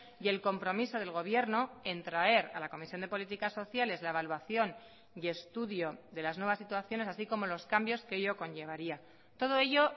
y el compromiso del gobierno en traer a la comisión de políticas sociales la evaluación y estudio de las nuevas situaciones así como los cambios que ello conllevaría todo ello